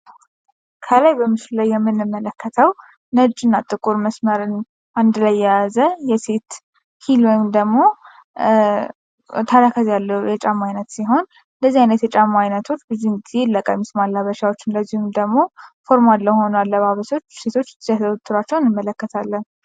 ከላይ በምስሉ ላይ የምንመለከተው ነጭና ጥቁር መስመርን አንድ ላይ የያዘ የሴት ሂል ወይንም ደሞ ተረከዝ ያለው የጫማ አይነት ሲሆን እንደዚህ ያሉ የጫማ አይነቶች ብዙውን ጊዜ ለቀሚስ ማላበሻዎች እንደዚሁም ደሞ ፎርማል ለሆኑ አለባበሶች ሴቶች ሲያዘወትሯቸው እንመለከታለን።